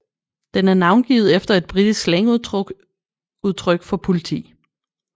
Den er navngivet efter et britisk slangudtryk for politi